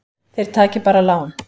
Þeir taki bara lán.